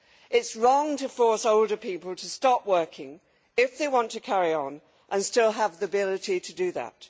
It is wrong to force older people to stop working if they want to carry on and still have the ability to do that.